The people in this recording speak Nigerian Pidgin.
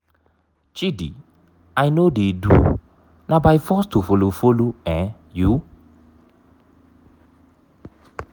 chidi i no dey do na by force to follow follow um you?